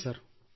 ಸರಿ ಸರ್